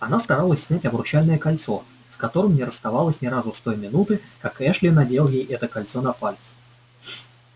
она старалась снять обручальное кольцо с которым не расставалась ни разу с той минуты как эшли надел ей это кольцо на палец